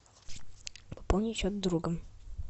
пополни счет друга